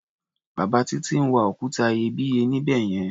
Bàbá Títí ń wa òkúta iyebíye níbẹ̀ yẹn.